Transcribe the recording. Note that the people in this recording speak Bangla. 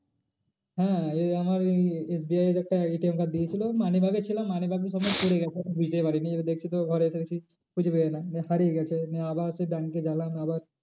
হ্যাঁ এই আমার SBI এর একটা ATM card দিয়েছিলো money bag এ ছিল money bag সমেত পরে গেছে। আমি বুঝতেই পারিনি এবার দেখছি তো ঘরে এসে দেখছি খুঁজে পাই না হারিয়ে গেছে নিয়ে আবার সেই bank গেলাম আবার